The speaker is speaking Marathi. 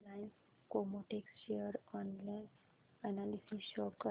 Reliance Chemotex share analysis show कर